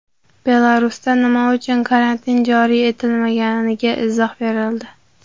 Belarusda nima uchun karantin joriy etilmaganiga izoh berildi.